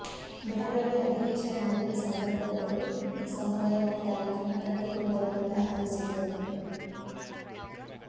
ಬೆಳಗಾವಿಯ ಅಧಿವೇಶನ ನಡೆಯುವ ಸಂದರ್ಭದಲ್ಲಿ ಈ ಸಮುದಾಯ ಒಟ್ಟಾಗಿ ತನ್ನ ಪ್ರತಿರೋಧವನ್ನು ದಾಖಲಿಸಿತು